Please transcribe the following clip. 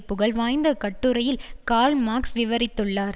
புகழ் வாய்ந்த கட்டுரையில் கார்ல் மார்க்ஸ் விவரித்துள்ளார்